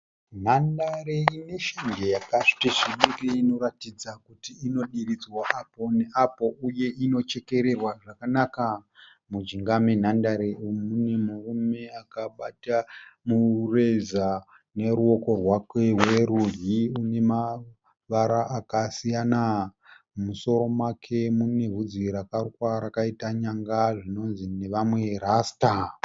Nhandare ineshanje yakati svibirei inoratidza kuti inodiridzwa apo neapo uye inochekererwa zvakanaka. Mujinga menhandare umu mune murume akabata mureza neruoko rwake rworudyi unemavara akasiyana. Mumusoro make munevhudzi rakarukwa rakaita nyanga zvinonzi nevamwe rasita.